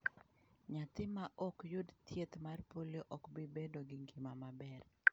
Nyathi ma ok yud thieth mar polio ok bi bedo gi ngima maber.